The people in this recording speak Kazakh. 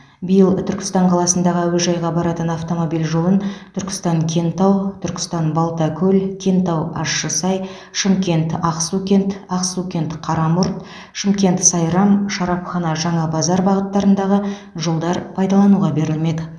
биыл түркістан қаласындағы әуежайға баратын автомобиль жолын түркістан кентау түркістан балтакөл кентау ащысай шымкент ақсукент ақсукент қарамұрт шымкент сайрам шарапхана жаңабазар бағыттарындағы жолдар пайдалануға берілмек